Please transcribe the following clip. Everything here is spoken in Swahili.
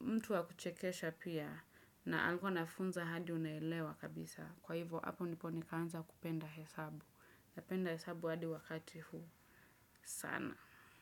mtu wa kuchekesha pia na alikuwa anafunza hadi unaelewa kabisa. Kwa hivyo, hapo ndipo nikaanza kupenda hesabu. Napenda hesabu hadi wakati huu. Sana.